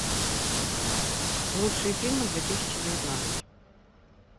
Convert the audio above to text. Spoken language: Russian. лучшие фильмы две тысячи девятнадцать